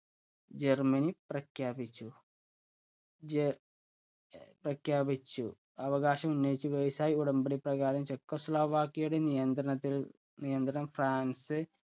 Germany പ്രഖ്യാപിച്ചു. ജ പ്രഖ്യാപിച്ചു. അവകാശം ഉന്നയിച്ചു versai ഉടമ്പടി പ്രകാരം ചെക്കൊസ്ലൊവാക്യയിലെ നിയന്ത്രണത്തില്‍, നിയന്ത്രണം ഫ്രാന്‍സ്